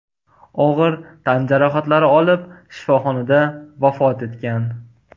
og‘ir tan jarohatlari olib shifoxonada vafot etgan .